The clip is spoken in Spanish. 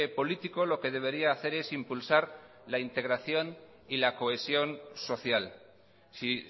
político lo que debería hacer es impulsar la integración y la cohesión social si